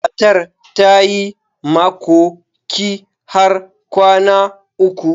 Matar ta yi makoki har kwana uku.